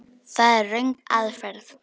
Það er röng aðferð.